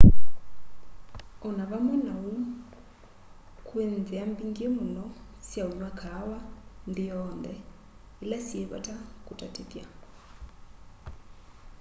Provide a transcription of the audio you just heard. o na vamwe na uu kwi nthia mbingi muno sya unywa kaawa nthi yonthe ila syi vata kutatithya